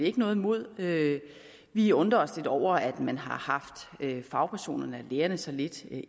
ikke noget imod vi undrer os lidt over at man har haft fagpersonerne lærerne så lidt